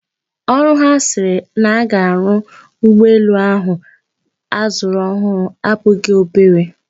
Ọrụ ha sịrị na-aga arụ ụgbọelu ahu azụrụ ọhụrụ abụghị obere.